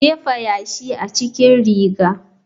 Jefa yashi a cikin riga.